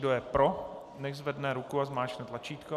Kdo je pro, nechť zvedne ruku a zmáčkne tlačítko.